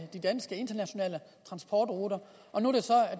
de danske internationale transportruter og nu